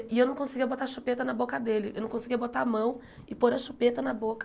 E eu não conseguia botar a chupeta na boca dele, eu não conseguia botar a mão e pôr a chupeta na boca.